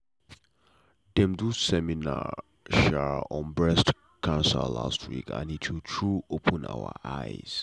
dem do seminar um on breast cancer last week and e true true open our eyes.